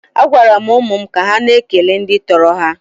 A gwara m ụmụ m ka ha na-ekele ndị tọrọ ha.